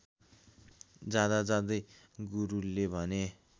जाँदाजाँदै गुरुले भने